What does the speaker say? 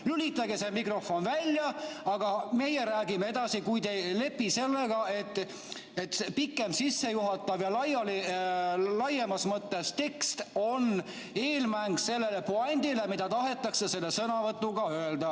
Lülitage mikrofon välja, aga meie räägime edasi, kui te ei lepi sellega, et pikem sissejuhatav ja laiemas mõttes tekst on eelmäng sellele puändile, mida tahetakse sõnavõtuga öelda.